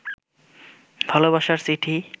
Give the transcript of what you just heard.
ভালবাসার চিঠি